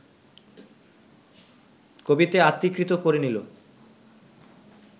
কবিতে আত্মীকৃত করে নিল